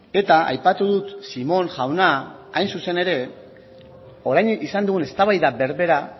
eta aipatu dut simon jauna hain zuzen ere orain izan dugun eztabaida berbera